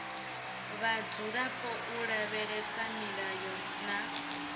vhadzulapo u lavhelesa milayo na